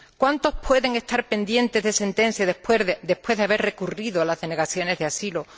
¿Cuántos pueden estar pendientes de sentencia después de haber recurrido las denegaciones de asilo?